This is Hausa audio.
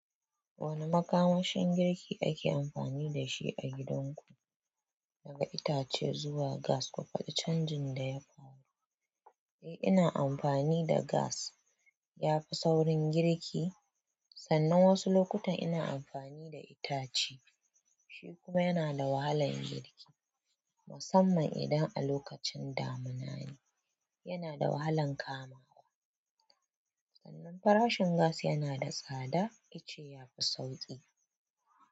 Wane makamashin girki ake amfani da shi a gidanku, daga itace zuwa gas, kuma faɗi canjin da ya faru. Eh, ina amfani da gas. Yafi saurin girki, sannan wasu lokutan ina amfani da itace kuma yana da wahalar girki musamman idan a lokacin damina ne yana da wahalan kamawa. Sannan farashin gas yana da tsada, ice ya fi sauƙi.